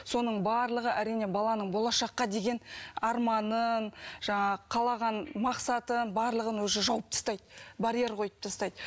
соның барлығы әрине баланың болашаққа деген арманын жаңағы қалаған мақсатын барлығын уже жауып тастайды барьер қойып тастайды